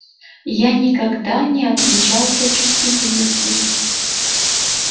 я никогда не отличался чувствительностью